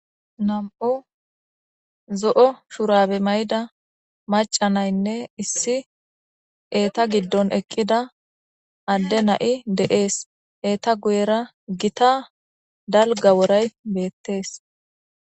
nam7u zo7o shurabe may7da macanaynne issi eeta giddon eqqida adde na7i deees eeta guyera gita dalga woray beettees